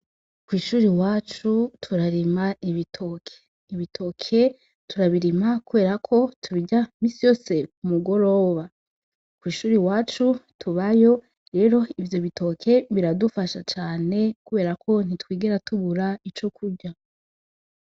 Kwishuri iwacu turarima ibitoke, ibitoke turabirima kubera ko tubirya imisi yose ku mugoroba kwishuri tubayo rero ivyo bitoke biradufasha cane kubera ko ntitwigera tubura ico turya.